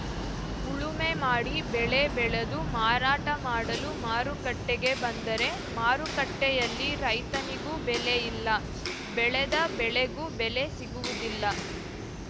ಉಳುಮೆ ಮಾಡಿ ಬೆಳೆ ಬೆಳೆದು ಮಾರಾಟ ಮಾಡಲು ಮಾರುಕಟ್ಟೆಗೆ ಬಂದರೆ ಮಾರುಕಟ್ಟೆಯಲ್ಲಿ ರೈತನಿಗೂ ಬೆಲೆ ಇಲ್ಲ ಬೆಳೆದ ಬೆಳೆಗೂ ಬೆಲೆ ಸಿಗುವುದಿಲ್ಲ